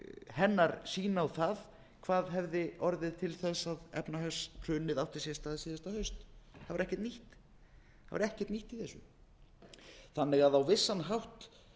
hennar sýn á það hvað hefði orðið til þess að efnahagshrunið átti sér stað síðasta haust það var ekkert nýtt í þessu þannig að á vissan hátt